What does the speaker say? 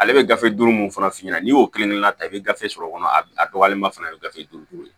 Ale bɛ gafe duuru mun fana f'i ɲɛna n'i y'o kelen kelen na ta i bɛ gafe sɔrɔ o kɔnɔ a dɔgɔyalenma fana a bɛ gafe duuru duuru